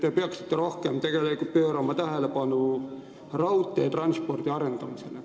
Te peaksite pöörama rohkem tähelepanu raudteetranspordi arendamisele.